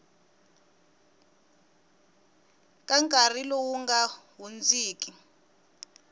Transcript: ka nkarhi lowu nga hundziki